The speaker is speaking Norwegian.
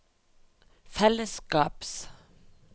fellesskaps